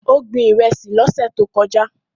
Ó gbin Ìrẹ́sì lọ́sẹ̀ tó kọjá